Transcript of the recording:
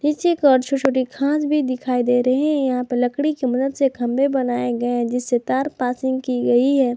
पीछे की ओर छोटे छोटे घास भी दिखाई दे रही हैं यहां पे लकड़ी की मदद से खंबे बनाए गए हैं जिससे तार पासिंग की गई है।